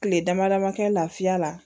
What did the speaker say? Kile dama dama kɛ lafiya la